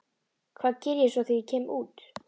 Hvað geri ég svo þegar ég kem út?